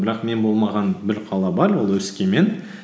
бірақ мен болмаған бір қала бар ол өскемен